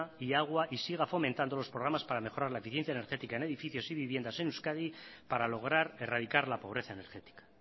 y agua y siga fomentando los programas para mejorar la eficiencia energética en edificios y viviendas en euskadi para lograr erradicar la pobreza energética